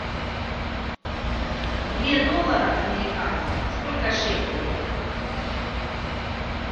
две долларов американских сколько шекелей